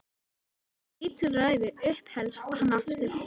Þetta er lítilræði upphefst hann aftur.